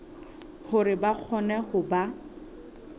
hore ba kgone ho ba